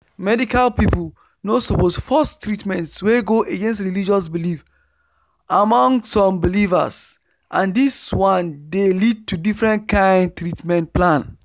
medical people no suppose force treatment wey go against religious belief among some believers and this one dey lead to different kind treatment plan